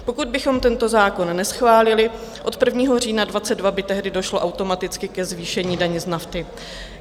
Pokud bychom tento zákon neschválili, od 1. října 2022 by tehdy došlo automaticky ke zvýšení daně z nafty.